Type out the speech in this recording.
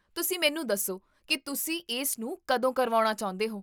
ਤੁਸੀਂ ਮੈਨੂੰ ਦੱਸੋ ਕੀ ਤੁਸੀਂ ਇਸਨੂੰ ਕਦੋਂ ਕਰਵਾਉਣਾ ਚਾਹੁੰਦੇ ਹੋ?